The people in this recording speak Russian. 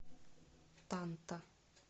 танта